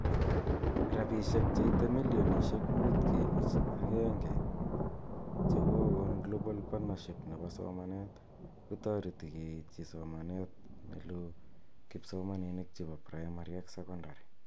Rabishek cheite milionishek 5.11 chekokon Global Partnership nebo somanet ,kotoreti keityi somenet neloo kipsomaninik chebo primary ak seoondary